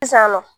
Sisan nɔ